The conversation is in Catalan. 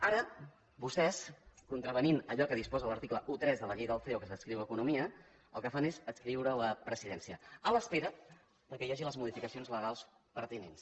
ara vostès contravenint allò que disposa l’article tretze de la llei del ceo que s’adscriu a economia el que fan és adscriure ho a presidència a l’espera que hi hagi les modificacions legals pertinents